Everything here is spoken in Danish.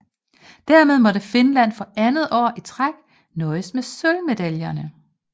Dermed måtte Finland for andet år i træk nøjes med sølvmedaljerne